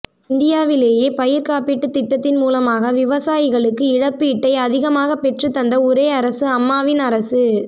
இந்தியாவிலேயே பயிர் காப்பீட்டுத் திட்டத்தின் மூலமாக விவசாயிகளுக்கு இழப்பீட்டை அதிகமாக பெற்றுத் தந்த ஒரே அரசு அம்மாவின் அரசு